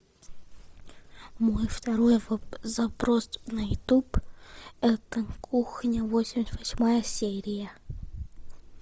мой второй запрос на ютуб это кухня восемьдесят восьмая серия